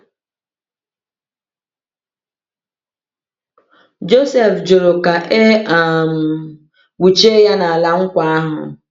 Jọsif jụrụ ka e um kpuchie ya n’ala nkwa ahụ.